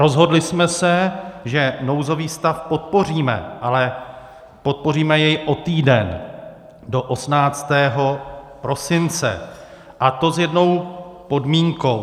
Rozhodli jsme se, že nouzový stav podpoříme, ale podpoříme jej o týden, do 18. prosince, a to s jednou podmínkou.